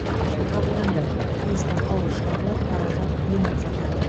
шешім қабылданды тиісті қаулы шығарылып қаражат бөлініп жатыр